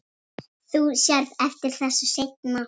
Þú sérð eftir þessu seinna.